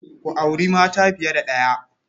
Ku auri mata fiye da ɗaya.